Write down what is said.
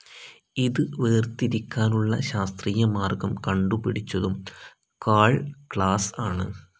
ഇത് വേർതിരിക്കാനുള്ള ശാസ്ത്രീയ മാർഗ്ഗം കണ്ടുപിടിച്ചതും കാൾ ക്ലാസ്‌ ആണ്.